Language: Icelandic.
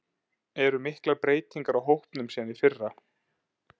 Eru miklar breytingar á hópnum síðan í fyrra?